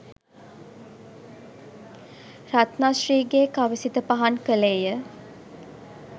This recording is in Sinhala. රත්න ශ්‍රී ගේ කවි සිත පහන් කළේය